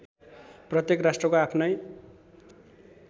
प्रत्येक राष्ट्रको आफ्नै